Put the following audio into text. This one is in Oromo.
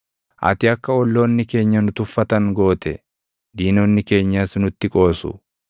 Ati akka olloonni keenya nu tuffatan goote; diinonni keenyas nutti qoosu.